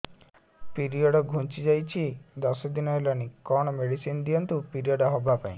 period ଘୁଞ୍ଚି ଯାଇଛି ଦଶ ଦିନ ହେଲାଣି କଅଣ ମେଡିସିନ ଦିଅନ୍ତୁ ପିରିଅଡ଼ ହଵା ପାଈଁ